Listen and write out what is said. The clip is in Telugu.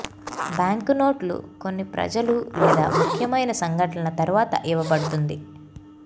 బ్యాంకు నోట్లు కొన్ని ప్రజలు లేదా ముఖ్యమైన సంఘటనల తరువాత ఇవ్వబడుతుంది